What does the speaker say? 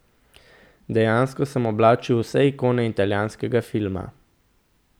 Dejansko sem oblačil vse ikone italijanskega filma.